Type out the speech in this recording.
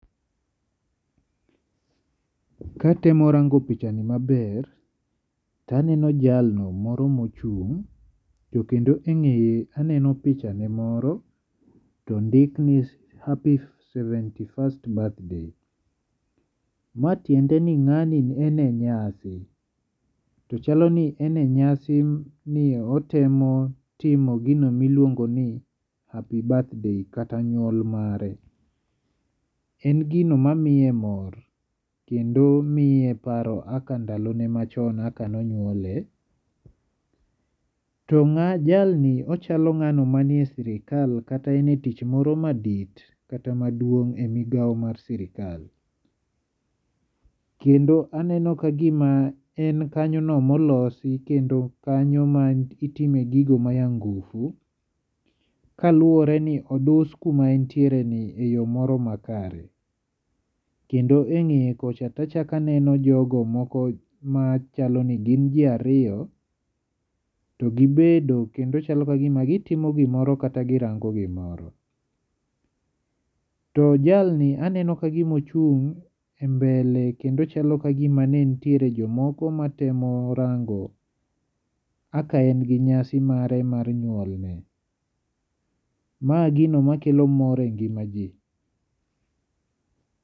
Katemo rango pichani maber, to aneno jalno moro ma ochung', to kendo e ng'eye aneno pichane moro, to ondik ni Happy seventy first Birthday. Ma tiende ni ng'ani en e nyasi, to chalo ni en e nyasi, ni otemo tomo gino ma iluongo ni Happy birthday kata nyuol mare. En gino mamiye mor kendo miye paro kaka ndalo machon kaka ne onyuole. To jalni ochalo ng'ano manie sirkal kata en e tich moro madit kata maduong' e migawo mar sikal. Kendo aneno ka gima en kanyo no molosi, kendo kanyo ma itime gigo ma ya ngufu. Kaluwore ni odus kuma entiere ni e yo moro makare. Kendo e ng'eye kocha to achak aneno jogo moko machalo ni gin ji ariyo to gibedo kendo chalo ka gima gitimo gimoro kata girango gimoro. To jalni aneno kagima ochung' e mbele, kendo chalo ka gima nitiere jomoko matemo rango kaka en gi nyasi mare mar nyuolne. Ma gino makelo mor e ngima ji.